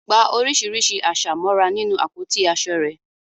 Gba oríṣiríṣi àṣà mọ́ra nínú àpótí aṣọ rẹ.